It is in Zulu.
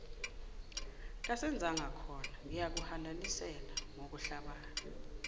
kasenzangakhona ngiyakuhalalisela ngokuhlabana